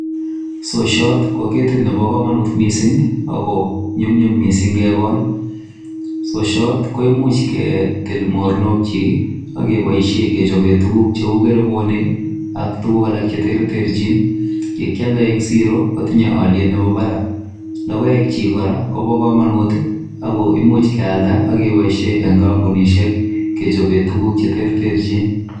Sosiot ko ketit nebo komonut mising ago nyumnyum mising kekol. Sosiot koimuch ketil mornokyik ak keboisiie kechoben tuguk cheu kerebonik ak tuguk alak che tereterchin, ye kyal en siro kotinye olyet nebo barak. Logoekchik kora kobo komonut ago imuch kealda ak keboishen en kompunisiek kechobe tuguk che terterchin.